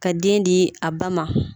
Ka den di a ba ma